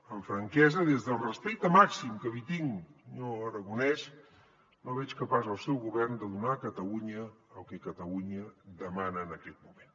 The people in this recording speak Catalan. amb franquesa des del respecte màxim que li tinc senyor aragonès no veig capaç el seu govern de donar a catalunya el que catalunya demana en aquest moment